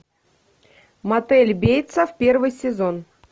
мотель бейтса первый сезон